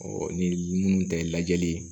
ni minnu ta ye lajɛli ye